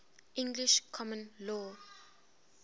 english common law